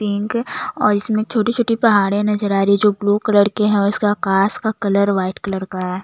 Pink और इसमें छोटी - छोटी पहाड़े नजर आ रही है जो ब्लू कलर के हैं और इसके आकाश का कलर वाइट कलर का हैं।